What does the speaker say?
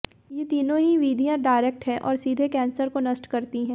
ये तीनों ही विधियां डायरेक्ट हैं और सीधे कैंसर को नष्ट करती हैं